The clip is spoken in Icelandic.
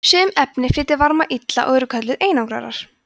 sum efni flytja varma illa og eru kölluð einangrarar